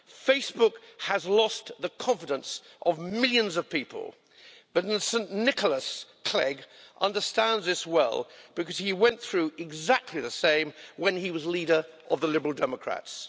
Facebook has lost the confidence of millions of people, but St Nicholas Clegg understands this well because he went through exactly the same when he was leader of the Liberal Democrats.